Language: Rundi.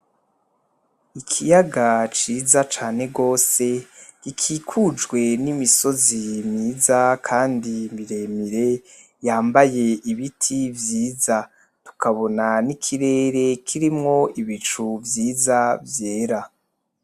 Ikiyaga ciza cane gose gikikujwe n'imisozi myiza kandi muremire yambaye ibiti vyiya tukabona n'ikirere gifise ibicu vyiza vyera.